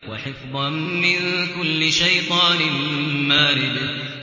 وَحِفْظًا مِّن كُلِّ شَيْطَانٍ مَّارِدٍ